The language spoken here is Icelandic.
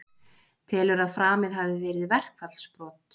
Telur að framið hafi verið verkfallsbrot